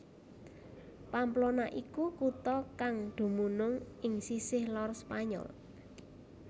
Pamplona iku kutha kang dumunung ing sisih lor Spanyol